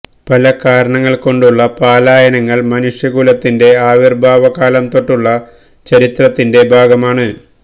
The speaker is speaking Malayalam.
പല കാരണങ്ങൾ കൊണ്ടുമുള്ള പലായനങ്ങൾ മനുഷ്യ കുലത്തിന്റെ ആവിർഭാവ കാലം തൊട്ടുള്ള ചരിത്രത്തിന്റെ ഭാഗമാണ്